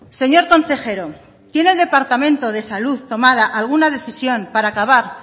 señor consejero tiene el departamento de salud tomada alguna decisión para acabar